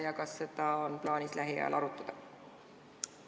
Ja kas seda on plaanis lähiajal arutada?